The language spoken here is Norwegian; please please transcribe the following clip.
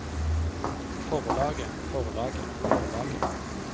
forlaget forlaget forlaget